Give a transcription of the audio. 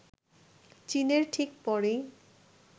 চীনের ঠিক পরেই